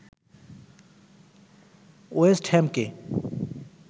West হ্যামকে